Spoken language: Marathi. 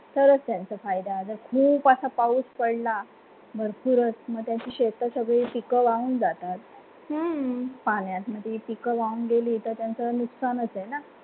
तरंच त्यांचा फायदा खूप पाऊस पडला भरपूर मध्ये शेततळे वाहून जातात पाण्यामध्ये पिकं वाहून गेली तर त्यांचा नुकसानच आहे.